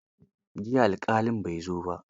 Jiya alƙalin bai zo ba.